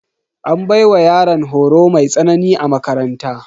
An baiwa yaran horo mai tsanani a makaranta.